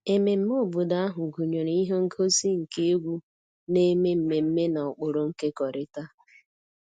Ememme obodo ahụ gụnyere ihe ngosi nke egwu na-eme mmemme na ụkpụrụ nkekọrịta